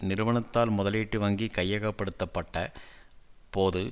நிறுவனத்தால் முதலீட்டு வங்கி கையகப்படுத்த பட்ட போது